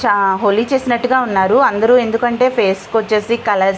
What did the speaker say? చ హోలీ చేసినట్టుగా ఉన్నారు అందరూ ఎందుకంటే ఫేస్ కి వచ్చేసి కలర్స్ --